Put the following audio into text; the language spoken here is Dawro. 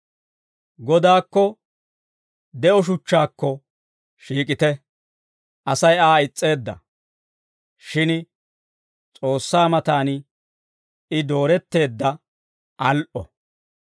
Godaakko de'o shuchchaakko shiik'ite. Asay Aa is's'eedda; shin S'oossaa matan I dooretteedda al"o.